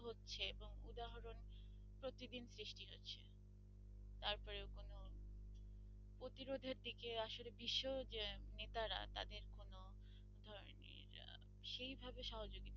প্রতিরোধের দিকে আসলে বিশ্ব যে নেতারা তাদের কোনও সেই ভাবে সহযোগিতা করছে